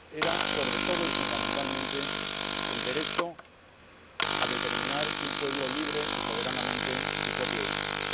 era, sobre todo y fundamentalmente, el derecho a determinar un pueblo libre y soberanamente su propio destino.